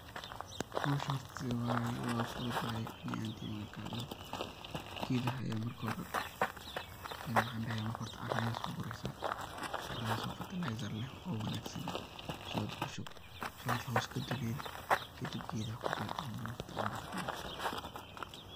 Howsha horta se waye waa fudhutahay aniga horta ahan teyda markan kahadlo, gedaha aya marka hore een maxan dahaya marka horta caara ayad so gureysa, caaradaso fatalaysar leh oo wanagsan, shood kushub shood hoos kaduleli kadib gedaha kubeer ama lafta canbada kubeer.